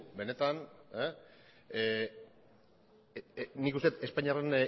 benetan nik uste dut espainiarren